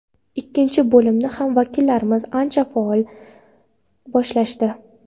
Ikkinchi bo‘limni ham vakillarimiz ancha faol boshlashdi.